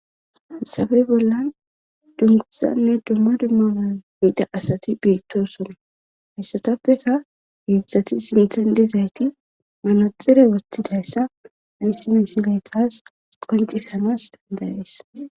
haysafe bollan dunguzanne dumma dumma mayo may7ida asati bettosona hessatappeka heezzati sinthan dezayti manaxire woththidayssa hayssi misile taas qoncisanas dandayees.